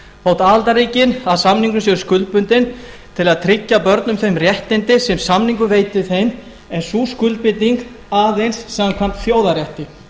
þótt aðildarríkin að samningnum séu skuldbundin til að tryggja börnum þau réttindi sem samningurinn veitir þeim en sú skuldbinding er aðeins samkvæmt þjóðarrétti